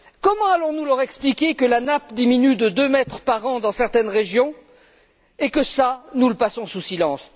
Comment allons nous leur expliquer que la nappe diminue de deux mètres par an dans certaines régions et que cela, nous le passons sous silence?